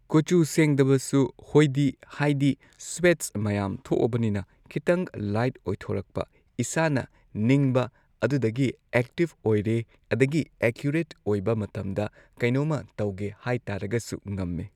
ꯀꯨꯆꯨ ꯁꯦꯡꯗꯕꯁꯨ ꯍꯣꯏꯗꯤ ꯍꯥꯏꯗꯤ ꯁ꯭ꯋꯦꯠꯁ ꯃꯌꯥꯝ ꯊꯣꯛꯑꯕꯅꯤꯅ ꯈꯤꯇꯪ ꯂꯥꯏꯠ ꯑꯣꯏꯊꯣꯔꯛꯄ ꯏꯁꯥꯅ ꯅꯤꯡꯕ ꯑꯗꯨꯗꯒꯤ ꯑꯦꯛꯇꯤꯚ ꯑꯣꯏꯔꯦ ꯑꯗꯒꯤ ꯑꯦꯀ꯭ꯌꯨꯔꯦꯠ ꯑꯣꯏꯕ ꯃꯇꯝꯗ ꯀꯩꯅꯣꯃ ꯇꯧꯒꯦ ꯍꯥꯏꯇꯥꯔꯒꯁꯨ ꯉꯝꯃꯦ